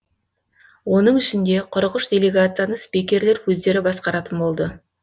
оның ішінде қырық үш делегацияны спикерлер өздері басқаратын болды